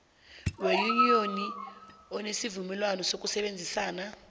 weyuniyoni enesivumelwana sokusebenzisana